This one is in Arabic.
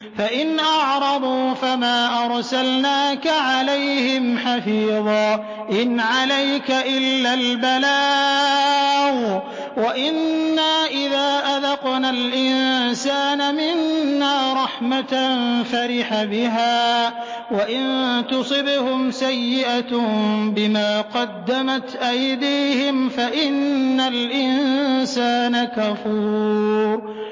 فَإِنْ أَعْرَضُوا فَمَا أَرْسَلْنَاكَ عَلَيْهِمْ حَفِيظًا ۖ إِنْ عَلَيْكَ إِلَّا الْبَلَاغُ ۗ وَإِنَّا إِذَا أَذَقْنَا الْإِنسَانَ مِنَّا رَحْمَةً فَرِحَ بِهَا ۖ وَإِن تُصِبْهُمْ سَيِّئَةٌ بِمَا قَدَّمَتْ أَيْدِيهِمْ فَإِنَّ الْإِنسَانَ كَفُورٌ